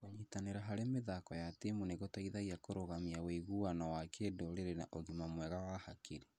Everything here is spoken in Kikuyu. Kũnyitanĩra harĩ mĩthako ya timu nĩ gũteithagia kũrũgamia wĩguano wa kĩndũrĩrĩ na ũgima mwega wa hakiri.